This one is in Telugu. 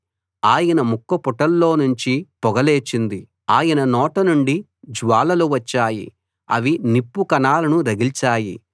ఆయన ముక్కుపుటాల్లో నుంచి నుండి పొగ లేచింది ఆయన నోట నుండి జ్వాలలు వచ్చాయి అవి నిప్పు కణాలను రగిల్చాయి